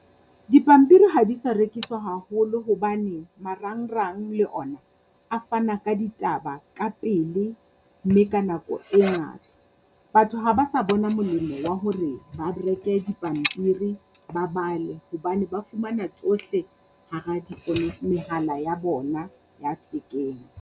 Dipampiri ha di sa rekiswa haholo hobane marangrang le ona a fana ka ditaba ka pele mme ka nako e ngata. Batho ha ba sa bona molemo wa hore ba reke dipampiri ba bale hobane ba fumana tsohle hara mehala ya bona ya thekeng.